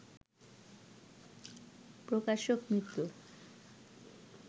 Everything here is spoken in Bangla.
প্রকাশক মিত্র